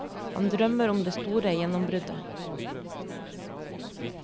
Han drømmer om det store gjennombruddet.